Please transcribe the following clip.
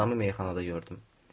O adamı meyxanada gördüm.